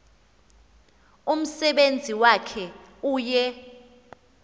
umsebenzi wakhe uye